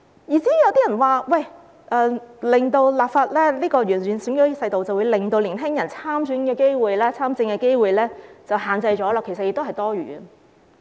有人說，立法完善選舉制度，會令年輕人參選和參政的機會受到限制，其實這是多餘的。